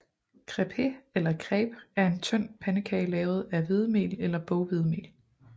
Crêpe eller crepe er en tynd pandekage lavet af hvedemel eller boghvedemel